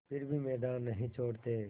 फिर भी मैदान नहीं छोड़ते